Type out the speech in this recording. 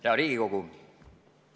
Hea Riigikogu!